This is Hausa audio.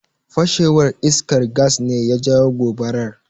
Fashewar iskar Gas ne ya jawo gobarar.